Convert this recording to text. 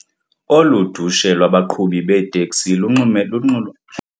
Olu dushe lwabaqhubi beeteksi lunxulumene nokwahlulelana ngemigaqo.